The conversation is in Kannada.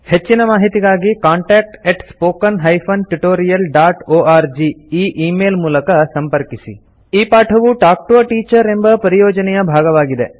ಹೆಚ್ಚಿನ ಮಾಹಿತಿಗಾಗಿ ಕಾಂಟಾಕ್ಟ್ spoken tutorialorg ಈ ಈ ಮೇಲ್ ಮೂಲಕ ಸಂಪರ್ಕಿಸಿ ಈ ಪಾಠವು ಟಾಲ್ಕ್ ಟಿಒ a ಟೀಚರ್ ಎಂಬ ಪರಿಯೋಜನೆಯ ಭಾಗವಾಗಿದೆ